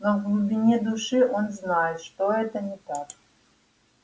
но в глубине души он знает что это не так